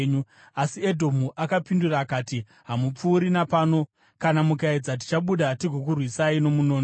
Asi Edhomu akapindura akati: “Hamupfuuri napano; kana mukaedza, tichabuda tigokurwisai nomunondo.”